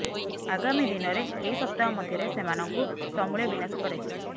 ଆଗାମୀ ଦିନରେ କେଇ ସପ୍ତାହ ମଧ୍ୟରେ ସେମାନଙ୍କୁ ସମୂଳେ ବିନାଶ କରାଯିବ